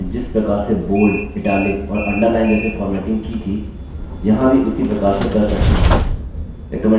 libreoffice documents में जिस प्रकार से bold italics और underline जैसे formatting की थी यहाँ भी उसी प्रकार से कर सकते हैं